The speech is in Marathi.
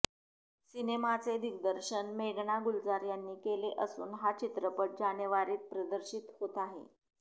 सिनेमाचे दिग्दर्शन मेघना गुलजार यांनी केले असून हा चित्रपट जानेवारीत प्रदर्शित होत आहे